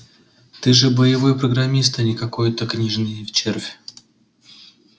ты же боевой программист а не какой-то книжный червь